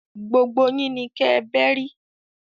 Gbógbó yin ni kè bèri